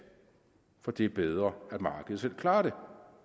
fordi det er bedre at markedet selv klarer det